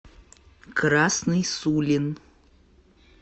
красный сулин